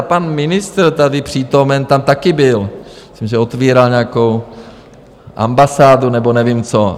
A pan ministr - tady přítomen - tam taky byl, myslím, že otvíral nějakou ambasádu nebo nevím co.